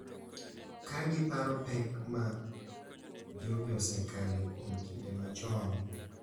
Kagiparo pek ma jogi osekale kuom kinde machon.